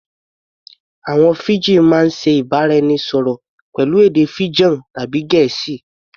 Àwọn Fiji máa ń ṣe ìbára-ẹnisọ̀rọ̀ pẹ̀lú èdè Fijan tàbí Gẹ̀ẹ́sì